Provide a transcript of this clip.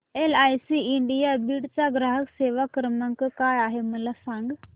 LIC India Beed चा ग्राहक सेवा क्रमांक काय आहे मला सांग